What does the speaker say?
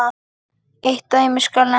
Eitt dæmi skal nefnt.